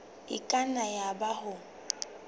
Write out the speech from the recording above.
e ka nna yaba o